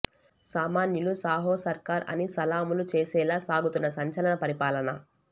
సామాన్యులు సాహో సర్కార్ అని సలాములు చేసేలా సాగుతున్న సంచలన పరిపాలన